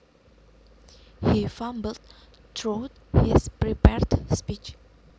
He fumbled through his prepared speech